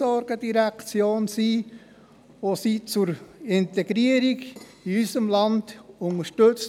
Von dieser werden sie bei der Integration in unserem Land unterstützt.